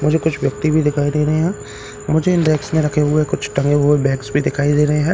मुझे कुछ व्यक्ति भी दिखाई दे रहे है मुझे इन डेक्स में रखे हुए कुछ टंगे हुए बैग्स भी दिखाई दे रहे है मुझे कुछ --